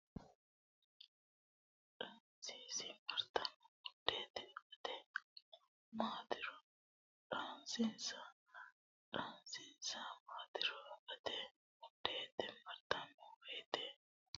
dhaansisi martanno muddante afate maatiro dhaansisi dhaansisi maatiro afate muddante martanno woyte anninsa Hawalle daggini ooso ya Malawinke karrate kao !